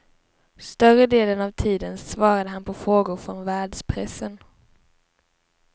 Större delen av tiden svarade han på frågor från världspressen.